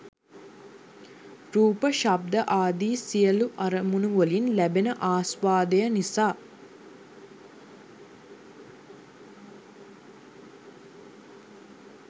රූප ශබ්ද ආදි සියලු අරමුණුවලින් ලැබෙන ආස්වාදය නිසා